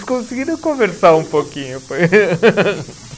Conseguiram conversar um pouquinho.